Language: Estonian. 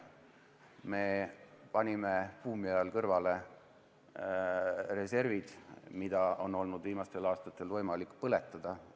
Me panime buumi ajal kõrvale reservid, mida on viimastel aastatel olnud võimalik põletada.